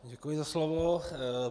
Děkuji za slovo.